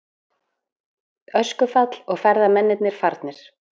Öskufall og ferðamennirnir farnir